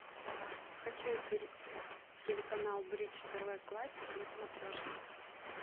хочу телеканал бридж тв классик на смотрешке